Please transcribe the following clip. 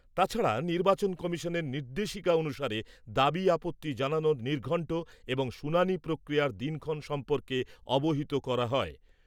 তাছাড়া নির্বাচন কমিশনের নির্দেশিকা অনুসারে দাবি আপত্তি জানানোর নির্ঘণ্ট এবং শুনানি প্রক্রিয়ার দিনক্ষণ সম্পর্কে অবহিত করা হয়।